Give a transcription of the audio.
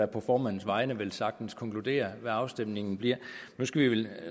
på formandens vegne velsagtens konkluderer hvad afstemningen bliver